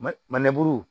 Manɛburu